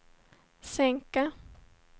sänka